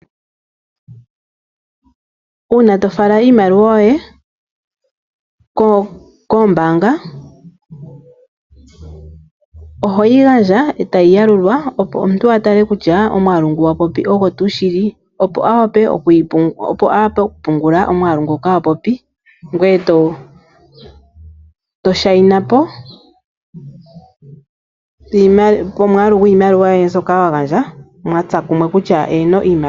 Una to fala iimaliwa yoye koombanga ohoyi gandja etayi yalulwa opo omuntu a mone kutya omwaalu ngu wapopi ogongaa. Opo a wape oku pungula omwaalu ngoka wa popi. Ngweye to shaina po mwaalu gwiimaliwa yoye mbyoka wa gandja, mwatsa kumwe.